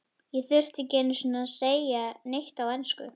Ég þurfti ekki einu sinni að segja neitt á ensku.